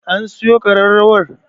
An siyo ƙararrawar?